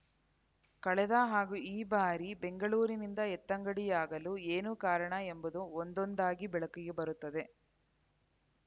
ಕಳೆದ ಹಾಗೂ ಈ ಬಾರಿ ಬೆಂಗಳೂರಿನಿಂದ ಎತ್ತಂಗಡಿಯಾಗಲು ಏನು ಕಾರಣ ಎಂಬುದು ಒಂದೊಂದಾಗಿ ಬೆಳಕಿಗೆ ಬರುತ್ತಿದೆ